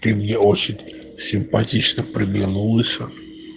ты мне очень симпатична приглянулась